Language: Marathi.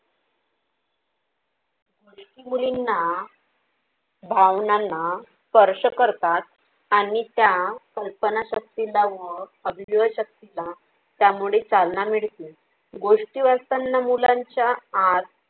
मुलींना भावनांना स्पर्श करतात आणि त्या कल्पना असते त्याहून अभिव्यक्त शक्तीचा त्यामुळे चालना मिळते गोष्टी मुलांच्या आत.